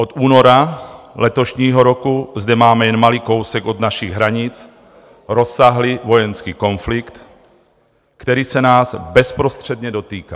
Od února letošního roku zde máme jen malý kousek od našich hranic rozsáhlý vojenský konflikt, který se nás bezprostředně dotýká.